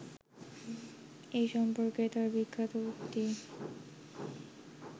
এ সম্পর্কে তাঁর বিখ্যাত উক্তি